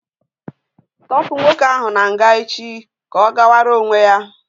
Tọpu nwoke ahụ na nga echi ka ọ gawara onwe ya!